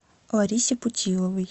ларисе путиловой